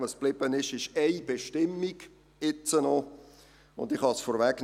Was geblieben ist, ist noch eine Bestimmung, und ich kann es vorwegnehmen: